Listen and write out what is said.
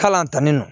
Kalan tanin nɔ